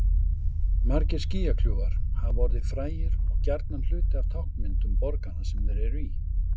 Margir skýjakljúfar hafa orðið frægir og gjarnan hluti af táknmyndum borganna sem þeir eru í.